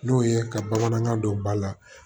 N'o ye ka bamanankan don ba la